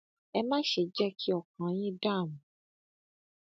ẹ má ṣe jẹ kí ọkàn yín dààmú